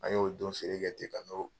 An y'o don feere kɛ